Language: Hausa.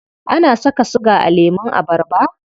Ana saka siga a lemun abarba?